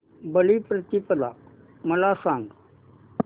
बलिप्रतिपदा मला सांग